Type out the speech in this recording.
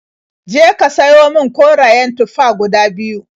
Je ka siyo min korayen tufa guda biyu.